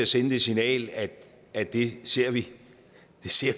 sende det signal at at det ser vi